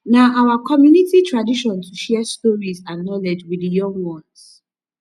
na our community tradition to share stories and knowledge wit di young ones